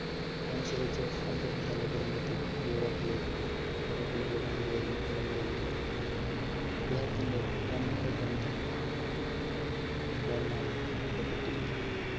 ഇതനുസരിച്ച് അദ്ദേഹം തന്റെ കുടുംബത്തെ യൂറോപ്പിലേക്ക്, യൂറോപ്പിലേക്ക് കൊണ്ടുപോവുകയും, തുടങ്ങുകയും ചെയ്തു അദ്ദേഹത്തിന്റെ രണ്ടു ബന്ധു സഹോദരന്മാർ football മായി ബന്ധപ്പെട്ടിരുന്നു,